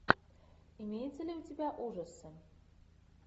имеется ли у тебя ужасы